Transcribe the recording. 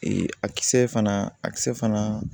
a kisɛ fana a kisɛ fana